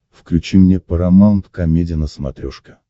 включи мне парамаунт комеди на смотрешке